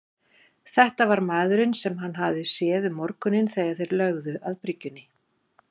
Þetta var maðurinn sem hann hafði séð um morguninn þegar þeir lögðu að bryggjunni.